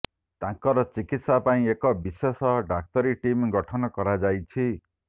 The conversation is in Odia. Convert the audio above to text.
ତାଙ୍କର ଚିକିତ୍ସା ପାଇଁ ଏକ ବିଶେଷ ଡାକ୍ତରୀ ଟିମ୍ ଗଠନ କରାଯାଇଛି